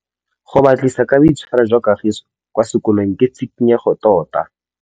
Go batlisisa ka boitshwaro jwa Kagiso kwa sekolong ke tshikinyêgô tota.